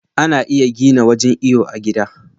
Za'a iya gina wajan iyo a gida